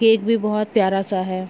Cake भी बहुत प्यारा सा है।